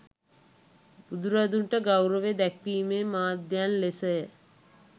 බුදුරදුන්ට ගෞරවය දැක්වීමේ මාධ්‍යයන් ලෙසය.